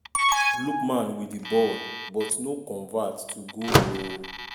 lookman wit di ball but no convert to goal oooo.